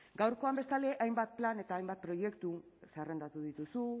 gaurkoan bestalde hainbat plan eta hainbat proiektu zerrendatu dituzu